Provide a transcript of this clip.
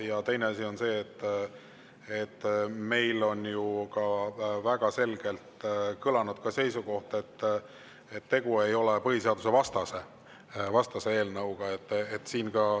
Ja teine asi on see, et meil on ju ka väga selgelt kõlanud seisukoht, et tegu ei ole põhiseadusvastase eelnõuga.